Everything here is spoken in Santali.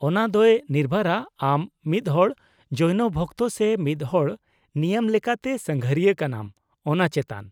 -ᱚᱱᱟ ᱫᱚᱭ ᱱᱤᱨᱵᱷᱚᱨᱟ ᱟᱢ ᱢᱤᱫᱦᱚᱲ ᱡᱳᱭᱱᱚ ᱵᱷᱚᱠᱛᱚ ᱥᱮ ᱢᱤᱫᱦᱚᱲ ᱱᱤᱭᱟᱹᱢ ᱞᱮᱠᱟᱛᱮ ᱥᱟᱸᱜᱷᱟᱨᱤᱭᱟᱹ ᱠᱟᱱᱟᱢ ᱚᱱᱟ ᱪᱮᱛᱟᱱ ᱾